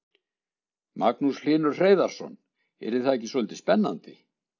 Magnús Hlynur Hreiðarsson: Yrði það ekki svolítið spennandi?